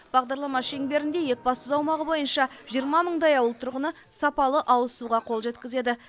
бағдарлама шеңберінде екібастұз аумағы бойынша жиырма мыңдай ауыл тұрғыны сапалы ауыз суға қол жеткізеді